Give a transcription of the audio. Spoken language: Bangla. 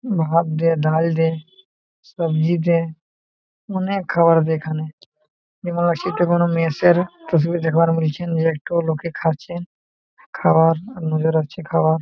ভাত দে ডাল দে সবজি দে অনেক খাবার দে এখানে এবং সেটা কোনো মেস -এর একটো লোকে খাচ্ছে খাবার নজর রাখছে খাবার।